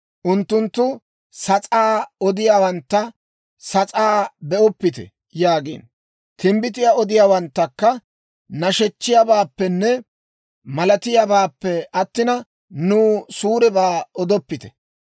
Unttunttu sas'aa odiyaawantta, «Sas'aa be'oppite» yaagiino; timbbitiyaa odiyaawanttakka, «nashechchiyaabaappenne malatiyaabaappe attina, nuw suurebaa odoppite.